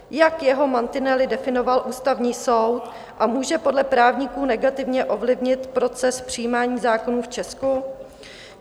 Jak jeho mantinely definoval Ústavní soud a může podle právníků negativně ovlivnit proces přijímání zákonů v Česku?